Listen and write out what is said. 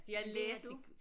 Det har du